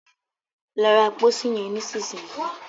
Lọ ra pósí yen nísìsiyìí!